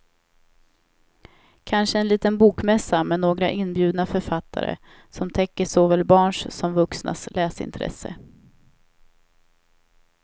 Kanske en liten bokmässa med några inbjudna författare som täcker såväl barns som vuxnas läsintresse.